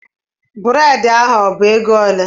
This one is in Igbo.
Brèd ahụ ọ bụ ego ole?